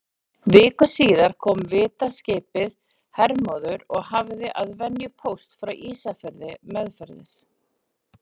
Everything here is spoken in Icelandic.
Viku síðar kom vitaskipið Hermóður og hafði að venju póst frá Ísafirði meðferðis.